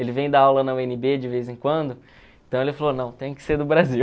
Ele vem dar aula na u ene bê de vez em quando, então ele falou, não, tem que ser do Brasil.